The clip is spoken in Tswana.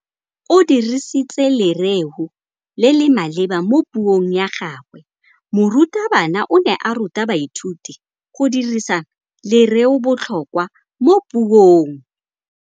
O dirisitse lerêo le le maleba mo puông ya gagwe. Morutabana o ne a ruta baithuti go dirisa lêrêôbotlhôkwa mo puong.